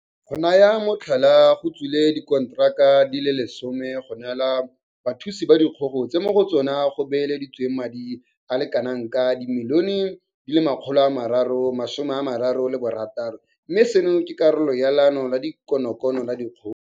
Go naya motlhala, go tswile dikonteraka di le 10 go neelwa bathuthusi ba dikgogo tse mo go tsona go beeleditsweng madi a le kanaka R336 milione mme seno ke karolo ya Leano la konokono la dikgogo.